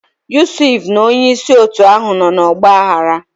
Yusuf na onye isi otu ahụ nọ n'ọgba aghara.